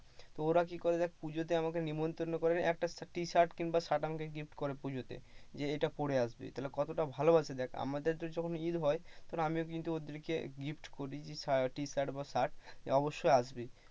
ওরা কি করে দেখ পুজোতে আমাকে নিমন্ত্রণ করে, একটা টি-শার্ট কিংবা শার্ট আমাকে gift করে। পুজোকে, যে এইটা পড়ে আসবি। তাহলে কতটা ভালোবাসে দেখ আমাদের যখন ঈদ হয় তখন আমিও কিন্তু ওদেরকে gift করি টি-শার্ট বা শার্ট অবশ্যই আসবি।